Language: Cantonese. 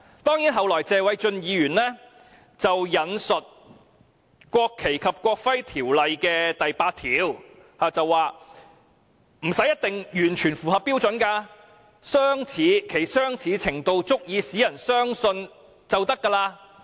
不過，謝偉俊議員後來引述《國旗及國徽條例》第8條，指複製本不一定要完全符合標準，只要"其相似程度足以使人相信"便可以。